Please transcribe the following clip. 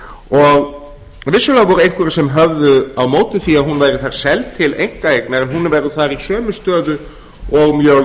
og vissulega voru einhverjir sem höfðu á móti því að hún væri seld til einkaeignar en hún verður þar í sömu stöðu og mjög